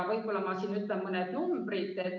Ütlen ka siinkohal mõned numbrid.